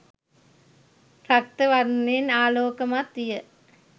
රක්ත වර්ණයෙන් ආලෝකමත් විය.